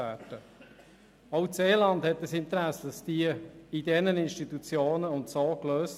Auch das Seeland hat ein Interesse daran, diese Probleme in diesen Institutionen und so zu lösen.